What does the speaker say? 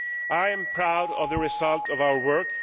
I am proud of the result of our work.